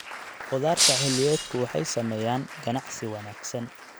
Khudaarta xilliyeedku waxay sameeyaan ganacsi wanaagsan.